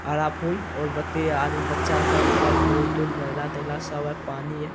हरा फूल और बत्ती है आदमी बच्चा सब उधर फूल-तूल महिला-तहिला सब है पानी है।